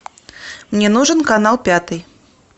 мне нужен канал пятый